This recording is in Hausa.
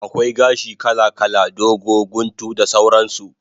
Akwai gashi kala kala, dogo, guntu da sauran su